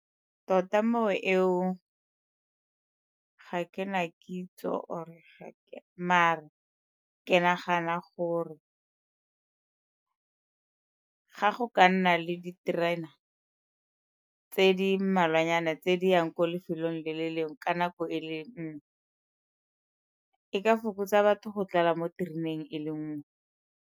Tota mo eo ka ga ke na kitso or-e ga ke, mare ke nagana gore ga go ka nna le diterena tse di mmalwanyana tse di yang ko lefelong le le lengwe ka nako e le nngwe e ka fokotsa batho go tlala mo tereneng e le nngwe.